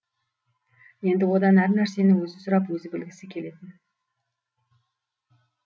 енді одан әр нәрсені өзі сұрап өзі білгісі келетін